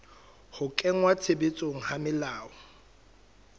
ho kenngwa tshebetsong ha melao